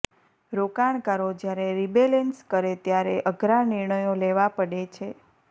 રોકાણકારો જ્યારે રિબેલેન્સ કરે ત્યારે અઘરા નિર્ણયો લેવા પડે છે